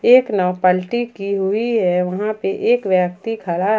एक नाव पलटी की हुई है वहां पे एक व्यक्ति खड़ा है।